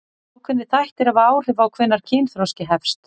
Ákveðnir þættir hafa áhrif á hvenær kynþroski hefst.